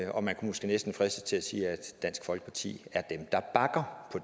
og man kunne måske næsten fristes til at sige at dansk folkeparti er dem der bakker